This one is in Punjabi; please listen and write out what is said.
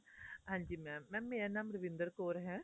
ਹਾਂਜੀ mam mam ਮੇਰਾ ਨਾਮ ਰਵਿੰਦਰ ਕੌਰ ਹੈ